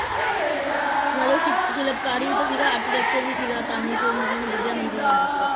ਨਾਲੇ ਸ਼ਿਪ~ ਸ਼ਿਲਪਕਾਰੀ ਵੀ ਤਾਂ ਸੀਗਾ architecture ਵੀ ਸੀਗਾ ਤਾਂ ਹੀ ਫਿਰ ਮਤਲਬ ਓਹਨੇ ਵਧੀਆ ਮੰਦਿਰ ਬਣਾਇਆ ਸੀਗਾ